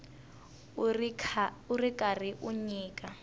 u ri karhi u nyika